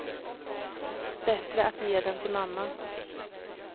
Bättre att ge den till mamma.